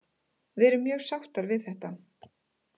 Við erum mjög sáttar með þetta.